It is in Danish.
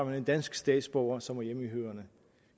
man en dansk statsborger som er hjemmehørende